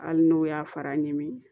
Hali n'o y'a fara ɲin